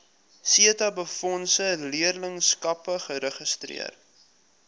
setabefondse leerlingskappe geregistreer